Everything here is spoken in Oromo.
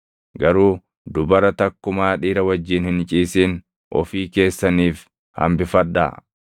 Garuu dubara takkumaa dhiira wajjin hin ciisin ofii keessaniif hambifadhaa.